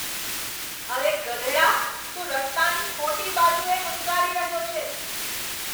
અરે, ગધેડા. તું રસ્તાની ખોટી બાજુએ હંકારી રહ્યો છે.